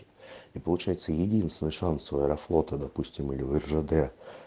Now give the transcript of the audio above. и получается единственный шанс у аэрофлота допустим или в ржд